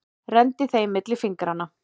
Renndi þeim milli fingranna.